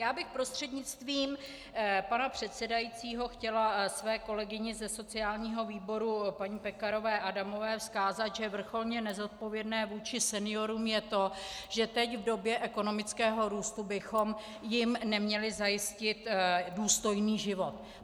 Já bych prostřednictvím pana předsedajícího chtěla své kolegyni ze sociálního výboru paní Pekarové Adamové vzkázat, že vrcholně nezodpovědné vůči seniorům je to, že teď v době ekonomického růstu bychom jim neměli zajistit důstojný život.